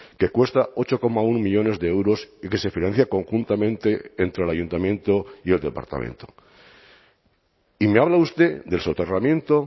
que cuesta ocho coma uno millónes de euros y que se financia conjuntamente entre el ayuntamiento y el departamento y me habla usted del soterramiento